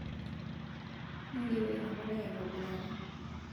ingero ina palai aitobiraki